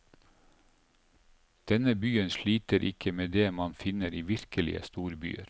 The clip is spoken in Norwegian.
Denne byen sliter ikke med det man finner i virkelige storbyer.